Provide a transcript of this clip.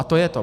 A to je to.